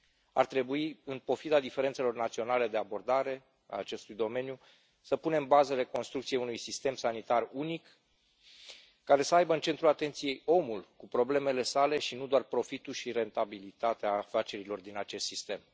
Ar trebui, în pofida diferențelor naționale de abordare a acestui domeniu, să punem bazele construcției unui sistem sanitar unic, care să aibă în centrul atenției omul, cu problemele sale, nu doar profitul și rentabilitatea afacerilor din acest sistem.